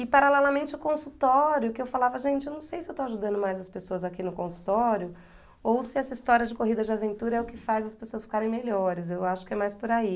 E paralelamente o consultório, que eu falava, gente, eu não sei se eu estou ajudando mais as pessoas aqui no consultório, ou se essa história de corrida de aventura é o que faz as pessoas ficarem melhores, eu acho que é mais por aí.